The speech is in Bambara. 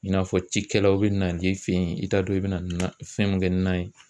I n'a fɔ cikɛlaw bɛ nali i fɛ ye i t'a dɔn i bɛ na nan fɛn min kɛ ni nan ye.